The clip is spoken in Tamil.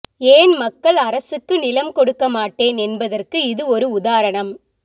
ஏன் மக்கள் அரசுக்கு நிலம் கொடுக்கமாட்டேன் என்பதற்கு இது ஒரு உதாரணம்